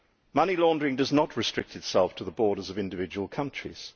Money laundering does not restrict itself to the borders of individual countries.